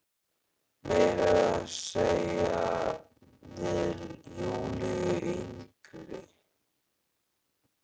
Meira að segja við Júlíu yngri.